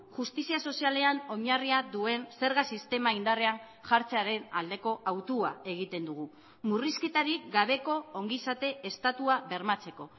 justizia sozialean oinarria duen zerga sistema indarrean jartzearen aldeko autua egiten dugu murrizketarik gabeko ongizate estatua bermatzeko